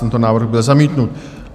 Tento návrh byl zamítnut.